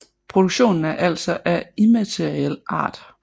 Produktionen er altså af immateriel art